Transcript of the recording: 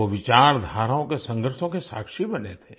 वो विचारधाराओं के संघर्षों के साक्षी बने थे